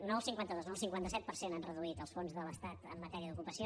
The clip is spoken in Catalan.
no el cinquanta dos no el cinquanta set per cent han reduït els fons de l’estat en matèria d’ocupació